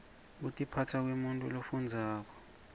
kutiphasa kwemuntfu lofundzako